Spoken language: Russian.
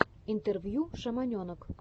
интервью шаманенок